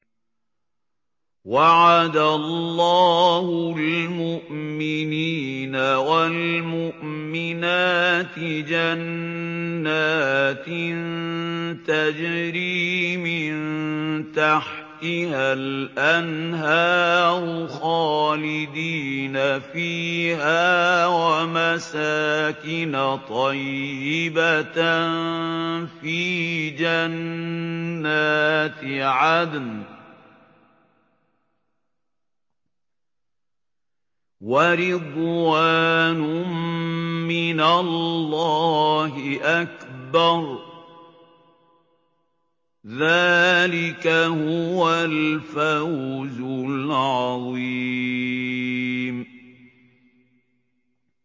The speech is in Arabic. وَعَدَ اللَّهُ الْمُؤْمِنِينَ وَالْمُؤْمِنَاتِ جَنَّاتٍ تَجْرِي مِن تَحْتِهَا الْأَنْهَارُ خَالِدِينَ فِيهَا وَمَسَاكِنَ طَيِّبَةً فِي جَنَّاتِ عَدْنٍ ۚ وَرِضْوَانٌ مِّنَ اللَّهِ أَكْبَرُ ۚ ذَٰلِكَ هُوَ الْفَوْزُ الْعَظِيمُ